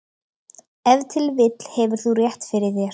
Ef til vill hefur þú rétt fyrir þér.